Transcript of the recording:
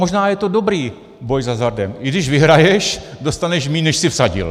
Možná je to dobrý boj s hazardem, i když vyhraješ, dostaneš míň, než jsi vsadil.